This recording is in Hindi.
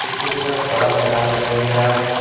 पीछे की तरफ बड़ा मैदान दिखाई दे रहा है।